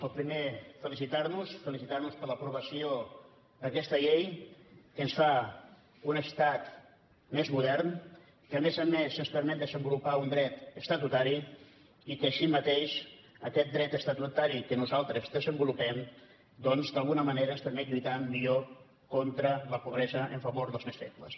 el primer felicitar nos felicitar nos per l’aprovació d’aquesta llei que ens fa un estat més modern que a més a més ens permet desenvolupar un dret estatutari i que així mateix aquest dret estatutari que nosaltres desenvolupem doncs d’alguna manera ens permet lluitar millor contra la pobresa a favor dels més febles